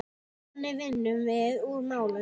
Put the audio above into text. Þannig vinnum við úr málunum